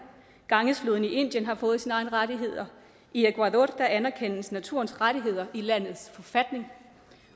gangesfloden i indien har fået sine egne rettigheder i ecuador anerkendes naturens rettigheder i landets forfatning